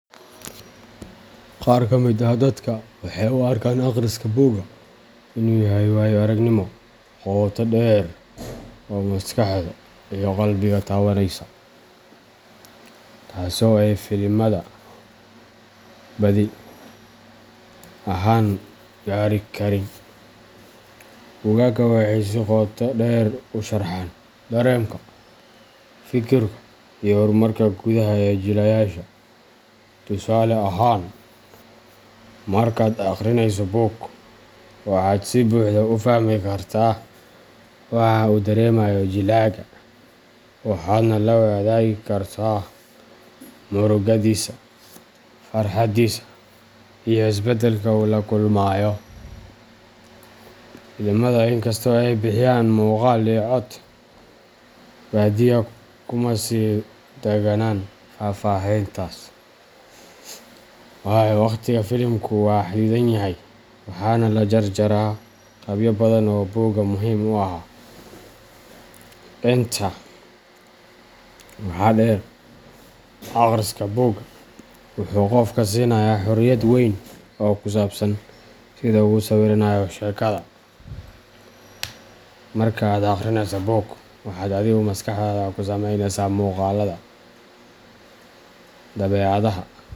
Qaar ka mid ah dadka waxay u arkaan akhriska buugga inuu yahay waayo aragnimo qoto dheer oo maskaxda iyo qalbiga taabanaysa, taasoo ay filimada badi ahaan gaari karin. Buugagga waxay si qoto dheer u sharxaan dareenka, fikirka iyo horumarka gudaha ee jilayaasha. Tusaale ahaan, markaad akhrinayso buug, waxaad si buuxda u fahmi kartaa waxa uu dareemayo jilaaga, waxaadna la wadaagi kartaa murugadiisa, farxaddiisa, iyo isbeddelka uu la kulmayo. Filimada, inkastoo ay bixiyaan muuqaal iyo cod, badiyaa kuma sii nagaadaan faahfaahintaas, waayo wakhtiga filimku waa xaddidan yahay, waxaana la jarjaraa qaybo badan oo buugga muhiim u ahaa. Intaa waxaa dheer, akhriska buugga wuxuu qofka siinayaa xorriyad weyn oo ku saabsan sida uu u sawiranayo sheekada. Marka aad akhrinayso buug, waxaad adigu maskaxdaada ku samaysanaysaa muuqaallada, dabeecadaha.